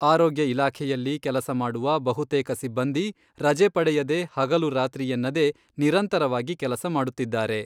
ಆರೋಗ್ಯ ಇಲಾಖೆಯಲ್ಲಿ ಕೆಲಸ ಮಾಡುವ ಬಹುತೇಕ ಸಿಬ್ಬಂದಿ ರಜೆ ಪಡೆಯದೇ ಹಗಲು ರಾತ್ರಿ ಎನ್ನದೇ ನಿರಂತರವಾಗಿ ಕೆಲಸ ಮಾಡುತ್ತಿದ್ದಾರೆ.